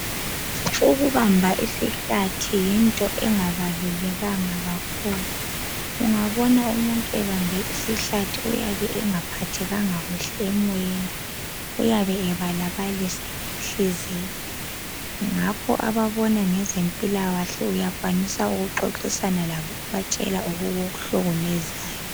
Ukubamba isihlathi yinto engabalulekanga kakhulu. Ungabona umuntu ebambe isihlathi uyabe engaphathekanga kuhle emoyeni. Uyabe ebalabalisa ngenhliziyo ngakho ababona ngezempilakahle uyakwanisa ukuxoxisana labo ubatshele okukuhlukumezayo.